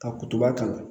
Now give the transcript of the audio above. Ka kutuba k'a la